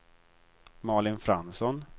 Malin Fransson